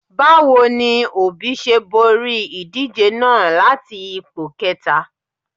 Báwo ni Òbí ṣe borí ìdíje náà láti ipò kẹta?